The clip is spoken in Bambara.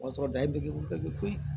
O y'a sɔrɔ dayiridew bɛɛ bɛ koyi